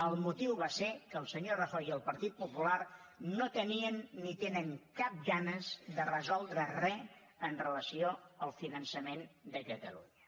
el motiu va ser que el senyor rajoy i el partit popular no tenien ni tenen cap ganes de resoldre re amb relació al finançament de catalunya